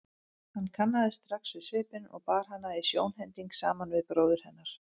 Hann kannaðist strax við svipinn og bar hana í sjónhending saman við bróður hennar.